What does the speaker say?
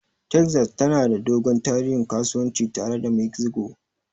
Texas tana da dogon tarihin kasuwanci tare da Mexico.